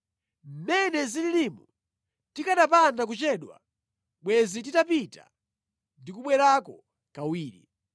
Mmene zililimu, tikanapanda kuchedwa, bwenzi titapita ndi kubwerako kawiri.”